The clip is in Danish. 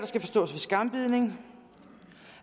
skal forstås ved skambidning